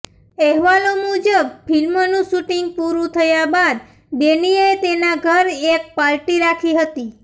અહેવાલો મુજબ ફિલ્મનું શુટિંગ પૂરું થયા બાદ ડેનીએ તેના ઘર એક પાર્ટી રાખી હતી